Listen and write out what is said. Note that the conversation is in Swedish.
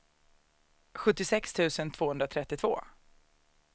sjuttiosex tusen tvåhundratrettiotvå